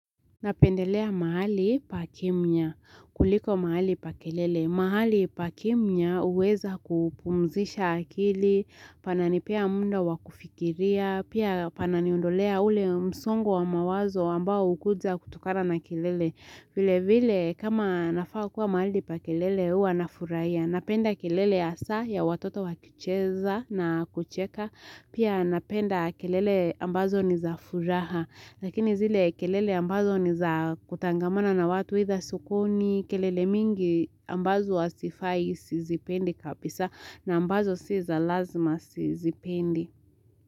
Napendelea mahali pa kimya, kuliko mahali pa kelele. Mahali pa kimya huweza kupumzisha akili, pana nipea muda wa kufikiria, pia pana niondolea ule msongo wa mawazo ambao hukuja kutokana na kelele. Vile vile kama nafaa kuwa mahali pa kelele huwa nafurahia. Napenda kelele hasa ya watoto wakicheza na kucheka. Pia napenda kelele ambazo ni za furaha. Lakini zile kelele ambazo ni za kutangamana na watu idha sokoni. Kelele mingi ambazo hazifai sizipendi kabisa na ambazo si za lazima sizipendi.